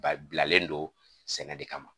Ba bilalen don sɛnɛde kama